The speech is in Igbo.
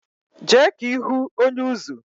Je ka ihu onye-uzú